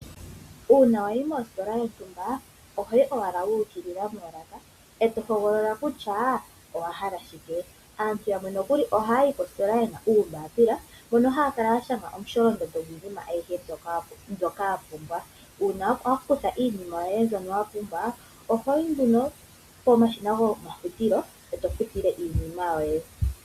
Uuna wayi mositola yontumba ohoyi owala wa ukilila moolaka e to hogolola kutya owa hala shike. Aantu yamwe nokuli ohaya yi koositola yena uumbapila, mono haya kala ya shanga omusholondondo gwiinima ayihe mbyoka ya pumbwa. Uuna wa kutha iinima yoye mbyono wa pumbwa ohoyi nduno pomashina gomafutilo, e to futile iinima yoye.